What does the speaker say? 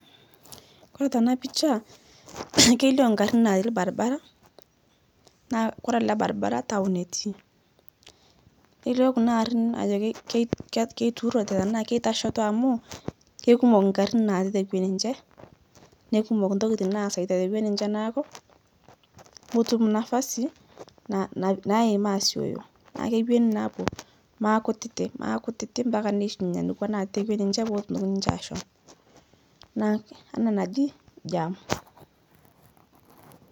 Kore tena picha kelio ingarin natii ilbaribara naah kore ele baribara town etii, nelio kuna ariin ajo kei keitururo enaa keitasheito amuu keikumuk ingarin natii tekwe ninche neikumok intokiting' naaseita tekwe ninche neeku metum nafasi naim aasioyo naa kewoni naa aapuo maakutitik maakutitik ampaka neishunye nekwa natii tekwe ninche peetumoki ashom, naake enaa enaji jam.